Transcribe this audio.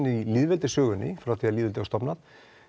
í lýðveldissögunni frá því lýðveldi var stofnað